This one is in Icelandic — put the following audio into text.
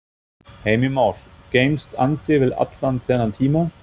Heimir Már: Geymst ansi vel allan þennan tíma?